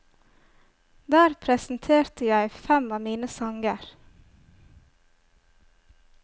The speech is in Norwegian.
Der presenterte jeg fem av mine sanger.